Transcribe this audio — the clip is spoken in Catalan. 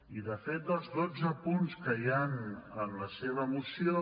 i de fet dels dotze punts que hi han en la seva moció